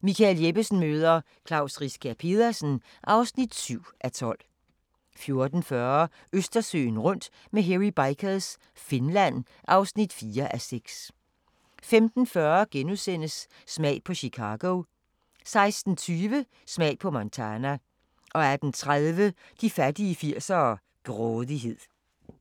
Michael Jeppesen møder ... Klaus Riskær Pedersen (7:12) 14:40: Østersøen rundt med Hairy Bikers – Finland (4:6) 15:40: Smag på Chicago * 16:20: Smag på Montana 18:30: De fattige 80'ere: Grådighed